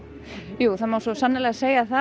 jú það má svo sannarlega segja það